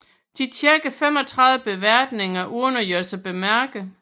De tjekkede 35 beværtninger uden at gøre sig bemærket